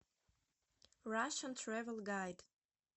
рашен трэвел гайд